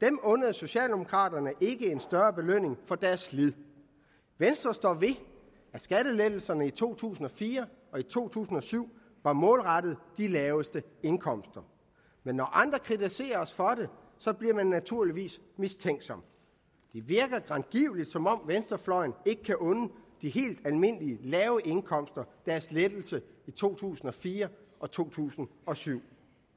dem undede socialdemokraterne ikke en større belønning for deres slid venstre står ved at skattelettelserne i to tusind og fire og to tusind og syv var målrettet de laveste indkomster men når andre kritiserer os for det bliver man naturligvis mistænksom det virker grangivelig som om venstrefløjen ikke kan unde de helt almindelige lave indkomster deres lettelser i to tusind og fire og to tusind og syv